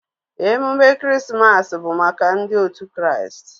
Emume krismas bu maka ndi otu kraist.